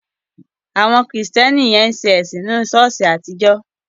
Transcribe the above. Àwọn Kristẹni yẹn ń sìn nínu ṣọ̀ọ́sì àtijọ́.